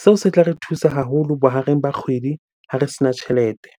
Seo se tla re thusa haholo bohareng ba kgwedi ha re sena tjhelete.